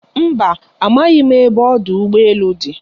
Mba, amaghị m ebe ọdụ ụgbọ elu dị.